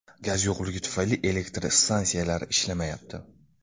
Gaz yo‘qligi tufayli elektr stansiyalari ishlamayapti.